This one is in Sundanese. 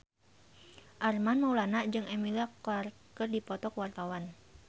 Armand Maulana jeung Emilia Clarke keur dipoto ku wartawan